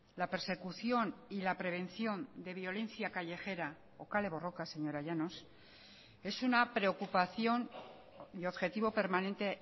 la persecución y la prevención de violencia callejera o kale borroka señora llanos es una preocupación y objetivo permanente